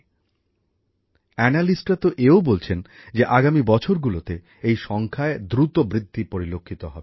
যারা মূল্যায়ন করেন তাঁরা তো এও বলছেন যে আগামী বছরগুলোতে এই সংখ্যায় দ্রুত বৃদ্ধি পরিলক্ষিত হবে